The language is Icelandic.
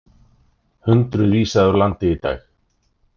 Hundruð vísað úr landi í dag